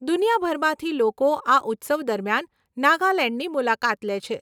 દુનિયાભરમાંથી લોકો આ ઉત્સવ દરમિયાન નાગાલેંડની મુલાકાત લે છે.